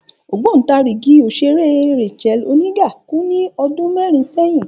Ògbóǹtarìgì òṣèré Rachael Oniga kú ní ọdún mẹ́rin sẹ́yìn